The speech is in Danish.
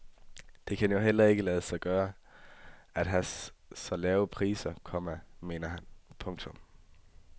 Det kan jo heller ikke lade sig gøre at have så lave priser, komma mener han. punktum